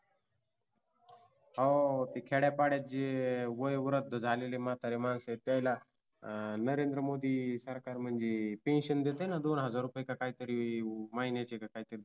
हो ते खेड्यापाड्यात जे वयोवृद्ध झालेले म्हतारे माणसं त्यांना नरेंद्र माेदीनी सरकार म्हणजे PENSION दोन हजार रूपये का काय तरी महिन्याचे का काहीतरी